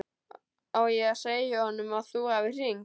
Á ég að segja honum að þú hafir hringt?